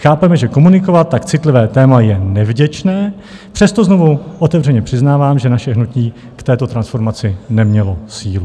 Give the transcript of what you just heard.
Chápeme, že komunikovat tak citlivé téma je nevděčné, přesto znovu otevřeně přiznávám, že naše hnutí k této transformaci nemělo sílu.